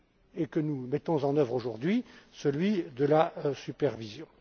et que nous mettons en œuvre aujourd'hui, à savoir la supervision.